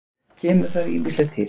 Kemur þar ýmislegt til.